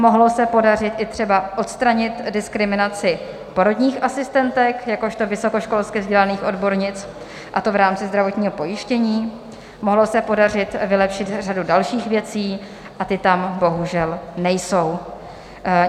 Mohlo se podařit i třeba odstranit diskriminaci porodních asistentek jakožto vysokoškolsky vzdělaných odbornic, a to v rámci zdravotního pojištění, mohlo se podařit vylepšit řadu dalších věcí, a ty tam bohužel nejsou.